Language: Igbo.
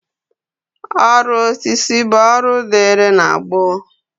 Ọrụ osisi bụ ọrụ dịịrị na gboo